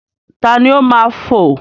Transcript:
Ta ni ó máa fo?